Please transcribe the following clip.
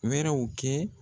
Wɛrɛw kɛ